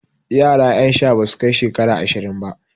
Yara ƴan sha basu bai shekara ashirin ba.